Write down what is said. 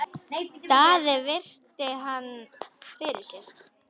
Daði virti hann fyrir sér.